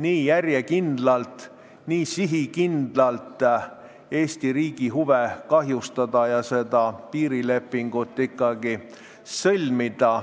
nii järjekindlalt, nii sihikindlalt Eesti riigi huve kahjustada ja seda piirilepingut ikkagi sõlmida.